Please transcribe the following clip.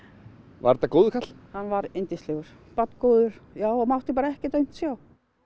var þetta góður karl hann var yndislegur barngóður og mátti bara ekkert aumt sjá